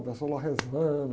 O pessoal lá rezando.